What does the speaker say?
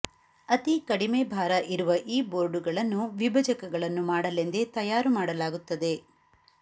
ಅತಿ ಕಡಿಮೆ ಭಾರ ಇರುವ ಈ ಬೋರ್ಡುಗಳನ್ನು ವಿಭಜಕಗಳನ್ನು ಮಾಡಲೆಂದೇ ತಯಾರು ಮಾಡಲಾಗುತ್ತದೆ